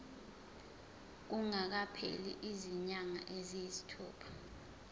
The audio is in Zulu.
kungakapheli izinyanga eziyisithupha